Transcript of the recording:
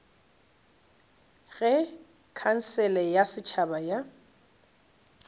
ge khansele ya setšhaba ya